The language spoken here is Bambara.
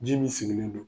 Ji min sigilen don